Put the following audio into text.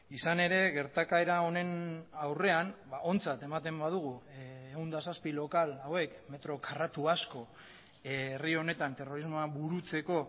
izan ere gertakaera honen aurrean ontzat ematen badugu ehun eta zazpi lokal hauek metro karratu asko herri honetan terrorismoa burutzeko